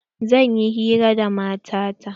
Zan yi hira da mata ta.